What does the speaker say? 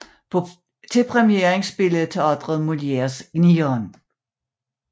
På premieren spillede teatret Molières Gnieren